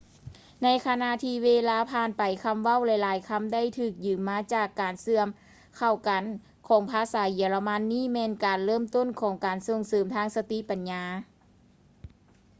ໃນຂະນະທີ່ເວລາຜ່ານໄປ ຄຳເວົ້າຫຼາຍໆຄຳ ໄດ້ຖືກຢືມມາຈາກການເຊື່ອມເຂົ້າກັນຂອງພາສາເຢຍລະມັນ ນີ້ແມ່ນການເລີ່ມຕົ້ນຂອງການສົ່ງເສີມທາງສະຕິປັນຍາ